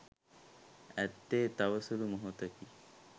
ඇත්තේ තව සුළු මොහොතකි